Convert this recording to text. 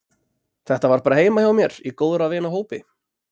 Þetta var bara heima hjá mér í góðra vina hópi.